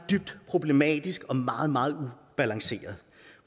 dybt problematisk og meget meget ubalanceret